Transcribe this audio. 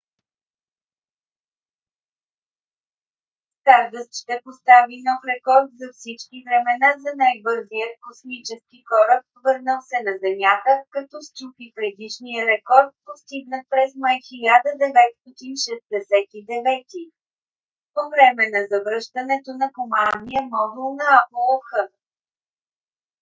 стардъст ще постави нов рекорд за всички времена за най-бързият космически кораб върнал се на земята като счупи предишния рекорд постигнат през май 1969 г. по време на завръщането на командния модул на аполо x